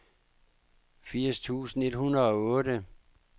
firs tusind et hundrede og otte